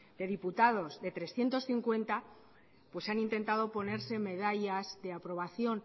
de diputados de trescientos cincuenta pues han intentado ponerse medallas de aprobación